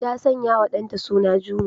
Ta sanyawa ɗanta suna Juma.